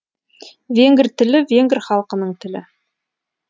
венгр тілі венгр халқының тілі